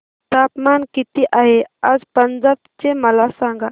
तापमान किती आहे आज पंजाब चे मला सांगा